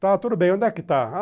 Tá, tudo bem, onde é que está?